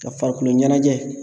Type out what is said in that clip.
Ka farikoloɲanajɛ